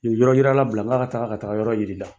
U ye yɔrɔ yila bila, n ka taga, ka taga yɔrɔ yiri la.